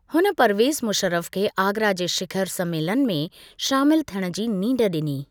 हुन परवेज़ मुशर्रफ खे आगरा जे शिखर सम्मेलन में शामिलु थियण जी नींढ ॾिनी।